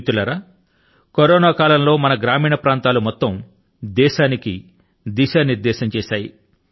మిత్రులారా కరోనా కాలం లో మన గ్రామీణ ప్రాంతాలు యావత్తు దేశాని కి దిశానిర్దేశం చేశాయి